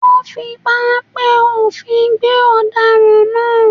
Wọ́n fi páńpẹ́ òfin gbé ọ̀daràn náà